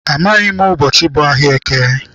Amaghị m ụbọchị bụ ahịa eke.